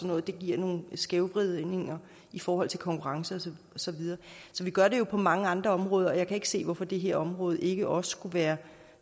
noget og det giver nogle skævvridninger i forhold til konkurrence og så videre så vi gør det jo på mange andre områder og jeg kan ikke se hvorfor det her område ikke også skulle være